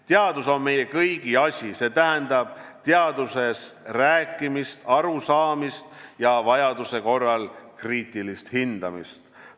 Teadus on meie kõigi asi – see tähendab teadusest rääkimist, sellest arusaamist ja vajaduse korral selle kriitilist hindamist.